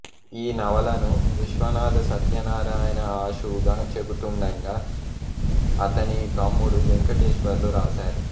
ఈ నవలను విశ్వనాధ సత్యనారాయణ ఆశువుగా చెబుతుండగా అతని తమ్ముడు వేంకటేశ్వర్లు వ్రాశారు